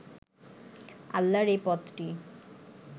আল্লাহর এই পথটি